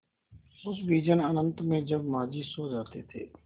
उस विजन अनंत में जब माँझी सो जाते थे